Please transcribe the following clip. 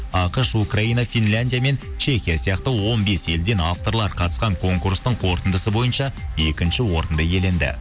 ақш украина финляндия мен чехия сияқты он бес елден авторлар қатысқан конкурстың қорытындысы бойынша екінші орынды иеленді